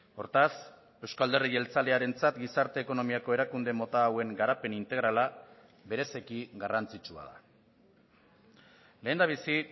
hortaz euzko alderdi jeltzalearentzat gizarte ekonomiako erakunde mota hauen garapen integrala bereziki garrantzitsua da lehendabizi